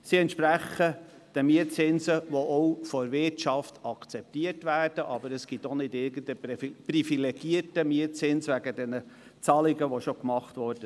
Sie entsprechen den Mietzinsen, wie sie auch seitens der Wirtschaft akzeptiert werden, und es gibt keinen privilegierten Mietzins aufgrund der bereits getätigten Zahlungen.